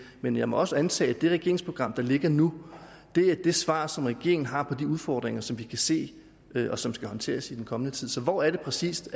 men jeg må også antage at det regeringsprogram der ligger nu er det svar som regeringen har på de udfordringer som vi kan se og som skal håndteres i den kommende tid så hvor er det præcis